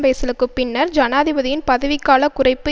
பேசலுக்குப் பின்னர் ஜனாதிபதியின் பதவிக்கால குறைப்பு